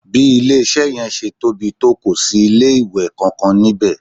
Bí ilé-iṣẹ́ yẹn ṣe tóbi tó kò sí ilé-ìwẹ̀ kankan níbẹ̀